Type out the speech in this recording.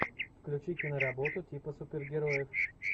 включи киноработу типа супергероев